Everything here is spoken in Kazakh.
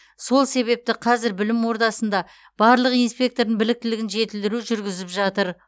сол себепті қазір білім ордасында барлық инспектордың біліктілігін жетілдіру жүргізіп жатыр